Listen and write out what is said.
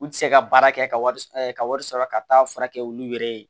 U tɛ se ka baara kɛ ka wari ka wari sɔrɔ ka taa fura kɛ olu yɛrɛ ye